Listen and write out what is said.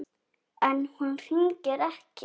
En hún hringir ekki.